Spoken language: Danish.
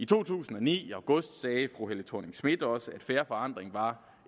to tusind og ni sagde fru helle thorning schmidt også at fair forandring var